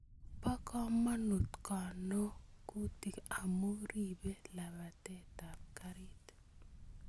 Bo komonut konogutik amu ribei labatetap garit